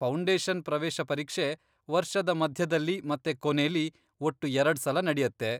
Foundation ಪ್ರವೇಶ ಪರೀಕ್ಷೆ ವರ್ಷದ ಮಧ್ಯದಲ್ಲಿ ಮತ್ತೆ ಕೊನೆಲಿ, ಒಟ್ಟು ಎರಡ್ಸಲ ನಡ್ಯತ್ತೆ.